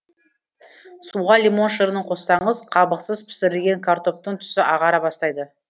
суға лимон шырынын қоссаңыз қабықсыз пісірілген картоптың түсі ағара бастайды